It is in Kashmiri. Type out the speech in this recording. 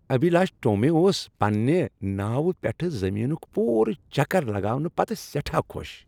ابھیلاش ٹومی اوس پننِہ ناوِ پیٹھ زمینک پورٕ چکر لگاونہٕ پتہٕ سیٹھاہ خوش۔